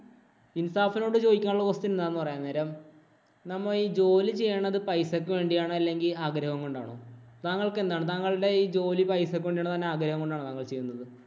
ഇന്‍സാഫിനോട് ചോദിക്കാനുള്ള question എന്താണെന്ന് പറയാം. അന്നരം നമ്മ ജോലി ചെയ്യണത് പൈസക്ക് വേണ്ടിയാണോ? അല്ലെങ്കില്‍ ആഗ്രഹം കൊണ്ടാണോ? താങ്കള്‍ക്ക് എന്താണ്? താങ്കളുടെ ഈ ജോലി പൈസക്ക് വേണ്ടിയാണോ? തന്‍റെ ആഗ്രഹം കൊണ്ടാണോ താങ്കള്‍ ചെയ്യുന്നത്?